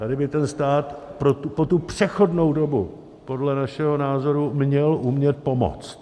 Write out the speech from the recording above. Tady by ten stát pro tu přechodnou dobu podle našeho názoru měl umět pomoct.